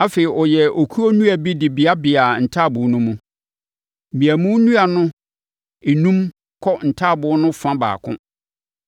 Afei, ɔyɛɛ okuo nnua bi de beabeaa ntaaboo no mu. Mmeamu nnua no enum kɔ ntaaboo no fa baako.